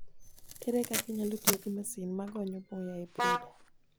Ere kaka inyalo tiyo gi masin ma gonyo muya e brooder?